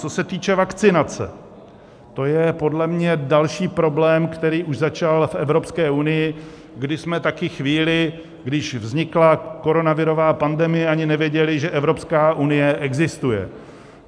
Co se týče vakcinace, to je podle mě další problém, který už začal v Evropské unii, kdy jsme taky chvíli, když vznikla koronavirová pandemie, ani nevěděli, že Evropské unie existuje.